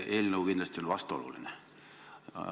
See eelnõu on kindlasti vastuoluline.